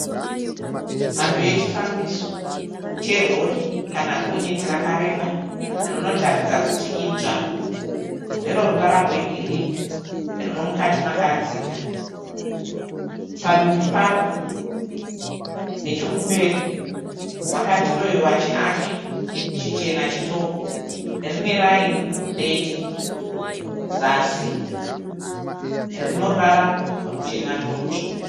Mhando yechifambiso cherori kana Gonyeti rakareba rinotaridza kuti idzva rine ruvara rwegirini rine mukati makadzika. Padumbu paro nechekumberi pakadrawiwa chiaki chichena chitoko. Rine raini dete zasi rine ruvara ruchena nerutsvuku.